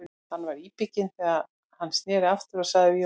Hann var íbygginn þegar hann sneri aftur og sagði við Jón